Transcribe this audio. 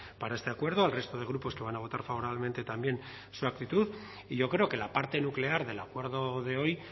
para este acuerdo al resto de grupos que van a votar favorablemente también su actitud y yo creo que la parte nuclear del acuerdo de hoy